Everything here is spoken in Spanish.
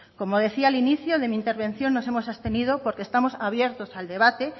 como decía al inicio de mi intervención nos hemos abstenido porque estamos abiertos al debate